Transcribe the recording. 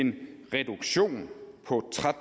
en reduktion på